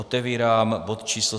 Otevírám bod číslo